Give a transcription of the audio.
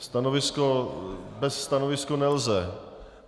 Stanovisko - bez stanoviska nelze.